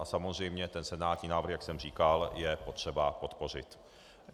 A samozřejmě ten senátní návrh, jak jsem říkal, je potřeba podpořit.